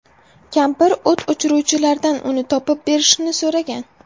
Kampir o‘t o‘chiruvchilardan uni topib berishini so‘ragan.